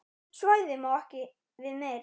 Svæðið má ekki við meiru.